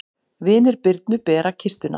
Vinir Birnu bera kistuna.